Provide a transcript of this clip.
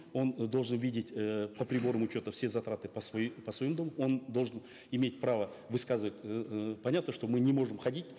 он э должен видеть э по приборам учета все затраты по своему дому он должен иметь право высказывать эээ понятно что мы не можем ходить